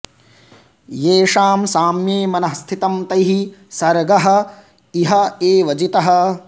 येषां साम्ये मनः स्थितं तैः सर्गः इह एव जितः